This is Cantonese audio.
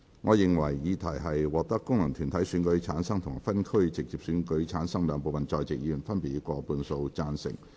我認為議題獲得經由功能團體選舉產生及分區直接選舉產生的兩部分在席議員，分別以過半數贊成。